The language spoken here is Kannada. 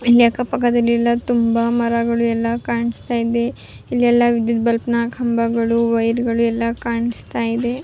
ಆ ನಂತ್ರ ಶಾಲೆ ಮುಗಿದ ನಂತ್ರ ಫೀಲ್ಡ್ಗ ಳಲ್ಲಿ ಆಟ ಆಡ್ಬೋದು ತುಂಬ ಖುಷಿ ಪಡೋ ಅಂತ ವಿಚಾರಗಳು.